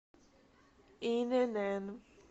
инн